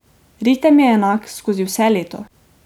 Ritem je enak skozi vse leto.